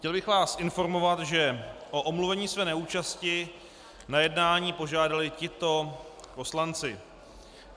Chtěl bych vás informovat, že o omluvení své neúčasti na jednání požádali tito poslanci.